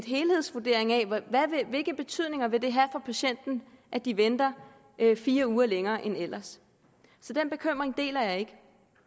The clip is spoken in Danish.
helhedsvurdering af hvilke betydninger det vil have for patienten at de venter fire uger længere end ellers så den bekymring deler jeg ikke